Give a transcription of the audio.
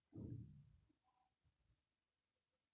হ্যাঁ আমি রিঙ্কি বলছি আপনি কে বলছেন?